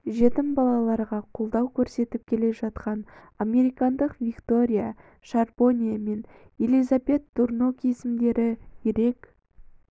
жетім балаларға қолдау көрсетіп келе жатқан американдық виктория шарбоне мен елизабет турнок есімдері ерек